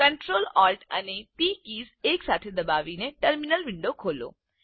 Ctrl Alt અને T keys એકસાથે દબાવી ટર્મિનલ વિન્ડો ખોલો